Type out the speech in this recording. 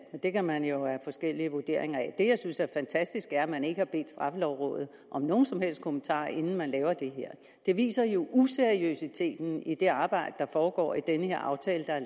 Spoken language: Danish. men det kan man jo have forskellige vurderinger af det jeg synes er fantastisk er at man ikke har bedt straffelovrådet om nogen som helst kommentarer inden man laver det her det viser jo useriøsiteten i det arbejde der foregår i den her aftale der er